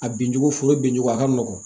A binjugu foro bincogo a ka nɔgɔn